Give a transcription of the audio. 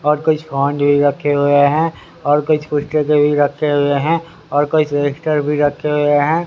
और कोई फोन भी रखे हुए हैं और कुछ पुस्तके भी रखे हुए हैं और कोई भी रखे हुए हैं।